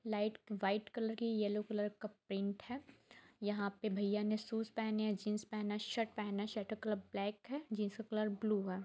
Light white collar की yellow collar का print है यहां पे भईया ने शूज पहने है जींस पहना शर्ट पहना है शर्ट का कॉलर ब्लैक है जीन्स का कॉलर ब्लू है।